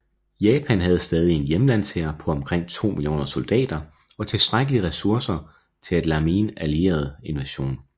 Japan havde stadig en hjemlandshær på omkring to millioner soldater og tilstrækkelige ressourcer til at lammeen allieret invasion